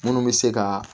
Munnu bɛ se ka